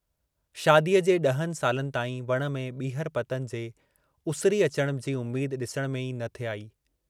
शादीअ जे ॾहनि जे सालनि ताईं वण में ॿीहर पतनि जे उसरी अचण जी उम्मेद ॾिसण में ई न थे आई।